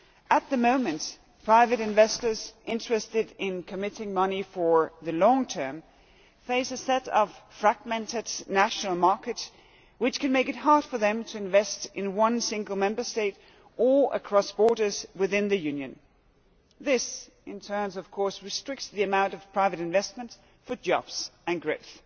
At the moment, private investors interested in committing money for the long term face a set of fragmented national markets which can make it hard for them to invest in one single Member State or across borders within the Union. This in turn restricts the amount of private investment for jobs and growth.